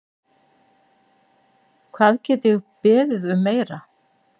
Hvað get ég beðið um meira?